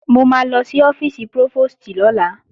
Mo máa lọ sí ọ́fíìsì prófòstì lọ́la